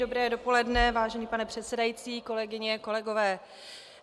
Dobré dopoledne, vážený pane předsedající, kolegyně, kolegové.